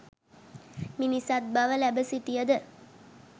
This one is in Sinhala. මිනිසත් බව ලැබ සිටියද